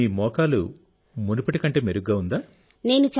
ఇప్పుడు మీ మోకాలి మునుపటి కంటే మెరుగ్గా ఉందా